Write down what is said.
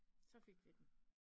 Så fik vi den